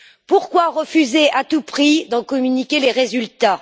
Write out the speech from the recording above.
Pourquoi refuser à tout prix d'en communiquer les résultats?